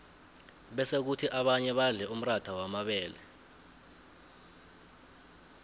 bese khuthi abanye badle umratha wamabele